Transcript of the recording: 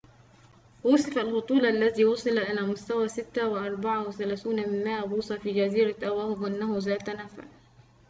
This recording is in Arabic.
وُصِف الهطول الذي وصل إلى مستوى 6,34 بوصة في جزيرة أواهو بأنه ذات نفع